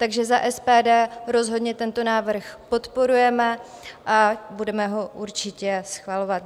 Takže za SPD rozhodně tento návrh podporujeme a budeme ho určitě schvalovat.